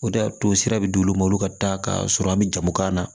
O de y'a to sira bɛ d'olu ma olu ka taa ka sɔrɔ an bɛ jamu k'an na